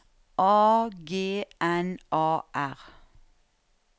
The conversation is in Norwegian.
A G N A R